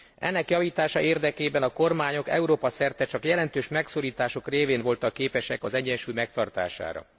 Ennek javítása érdekében a kormányok Európa szerte csak jelentős megszorítások révén voltak képesek az egyensúly megtartására.